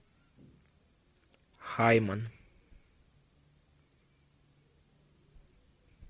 хайман